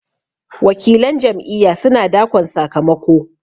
wakilan Jam'iyya suna dakon sakamako